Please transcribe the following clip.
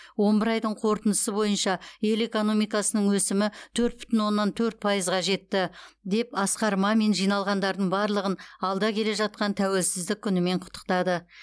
он бір айдың қорытындысы бойынша ел экономикасының өсімі төрт бүтін оннан төрт пайызға жетті деп асқар мамин жиналғандардың барлығын алда келе жатқан тәуелсіздік күнімен құттықтады